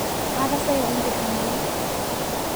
Aatasayia intiring'au.